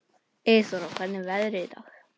Eyþóra, hvernig er veðrið í dag?